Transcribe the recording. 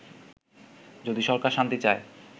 যদি সরকার শান্তি চায়